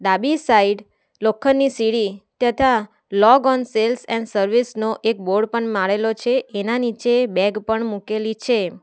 ડાબી સાઈડ લોખંડની સીડી તથા log on sales and service નો એક બોર્ડ પણ મારેલો છે એના નીચે બેગ પણ મૂકેલી છે.